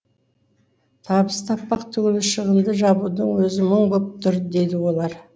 табыс таппақ түгілі шығынды жабудың өзі мұң боп тұр дейді олар